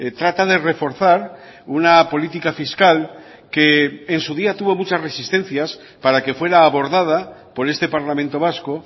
trata de reforzar una política fiscal que en su día tuvo muchas resistencias para que fuera abordada por este parlamento vasco